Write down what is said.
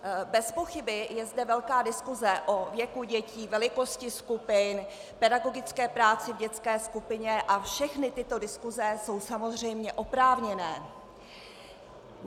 Bez pochyby je zde velká diskuse o věku dětí, velikosti skupin, pedagogické práci v dětské skupině a všechny tyto diskuse jsou samozřejmě oprávněné.